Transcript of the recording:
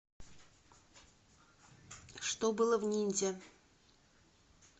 что было в ниндзя